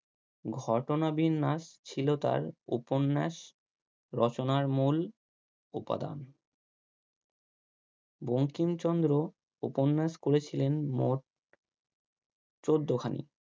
ঘটনা বিন্যাস ছিল তার উপন্যাস রচনার মূল উপাদান বঙ্কিমচন্দ্র উপন্যাস করেছিলেন মোট চোদ্দ খানি